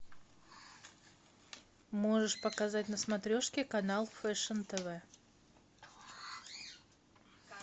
можешь показать на смотрешке канал фэшн тв